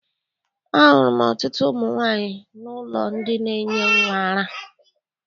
Ahụrụ m ọtụtụ ụmụ nwaanyị n'ụlọ ndị na-enye nnwa ara.